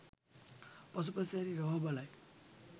පසුපස හැරී රවා බලයි.